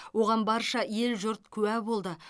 оған барша ел жұрт куә болды